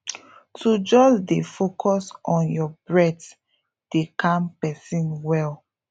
to just dey focus on your breath dey calm person well